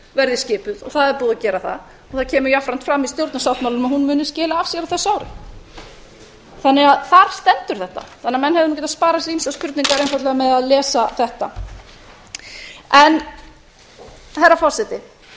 verði skipuð og það er búið að gera það og það kemur jafnframt fram í stjórnarsáttmálanum að hún muni skila af sér á þessu ári þar stendur þetta því þannig að menn hefðu getað sparað sér ýmsar spurningar einfaldlega með að lesa þetta herra forseti